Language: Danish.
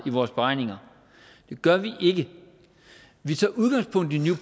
i vores beregninger det gør vi ikke vi tager udgangspunkt i new